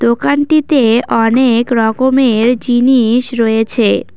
দোকানটিতে অনেক রকমের জিনিস রয়েছে।